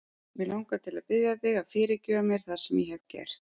Mig langar til að biðja þig að fyrirgefa mér það sem ég hef gert.